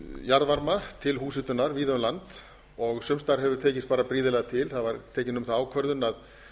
jarðvarma til húshitunar víða um land og sums staðar hefur tekist bara prýðilega til það var tekin um það ákvörðun að